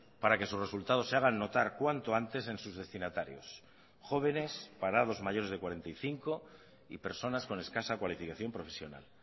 para que sus resultados se hagan notar cuanto antes en sus destinatarios jóvenes parados mayores de cuarenta y cinco y personas con escasa cualificación profesional